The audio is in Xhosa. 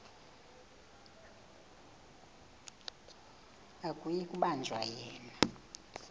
akuyi kubanjwa yena